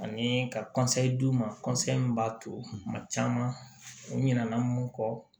Ani ka d'u ma min b'a to kuma caman u ɲina na mun kɔ